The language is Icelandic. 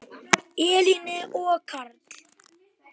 Elín og Karl.